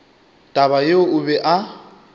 taba yeo o be a